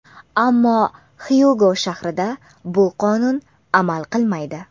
Ammo Xyugo shahrida bu qonun amal qilmaydi.